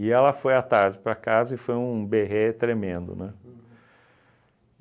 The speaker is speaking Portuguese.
ela foi à tarde para casa e foi um berrê tremendo, né?